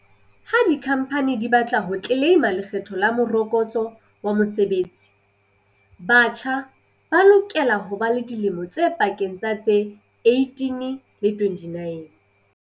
Ha dikhamphani di ba tla ho tleleima Lekgetho la Morokotso wa Mosebetsi, batjha ba lokela ho ba dilemong tse pakeng tsa tse 18 le 29.